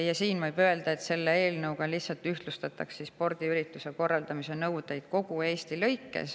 Ja siin võib öelda, et selle eelnõu kohaselt lihtsalt ühtlustatakse kogu Eestis spordiürituste korraldamise nõudeid.